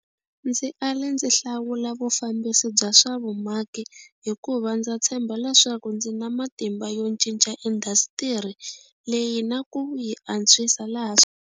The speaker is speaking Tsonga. Ndzi ale ndzi hlawula vufambisi bya swa vumaki hiku va ndza tshemba leswaku ndzi na matimba yo cinca indasitiri leyi na ku yi antswisa laha swi.